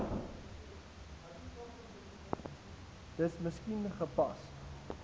dis miskien gepas